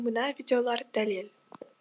мына видеолар дәлел